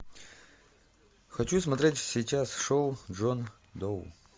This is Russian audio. хочу смотреть сейчас шоу джон доу